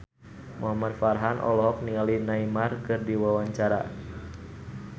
Muhamad Farhan olohok ningali Neymar keur diwawancara